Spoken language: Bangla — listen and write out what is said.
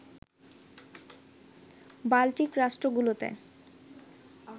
বাল্টিক রাষ্ট্রগুলোতে